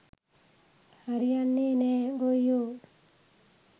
හරි යන්නෙ නෑ ගොයියො.